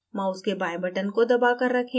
mouse के बाएँ button को दबा कर रखें